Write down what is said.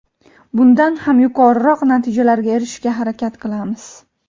bundan ham yuqoriroq natijalarga erishishga harakat qilamiz.